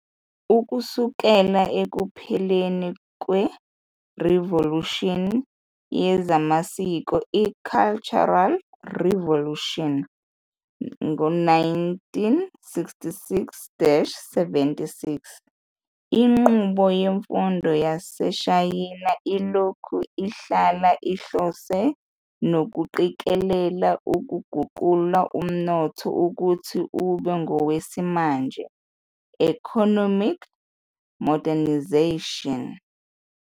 Ukusukela ekupheleni kwerivolushini yezamasiko i-Cultural Revolution, 1966-76, inqubo yemfundo yaseShayina ilokhu ihlala ihlose nokuqikelela ukuguqula umnotho ukuthi ube ngowesimanje, economic modernization.